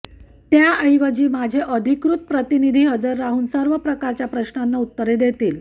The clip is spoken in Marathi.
त्याऐवजी माझे अधिकृत प्रतिनिधी हजर राहून सर्व प्रकारच्या प्रश्नांना उत्तरे देतील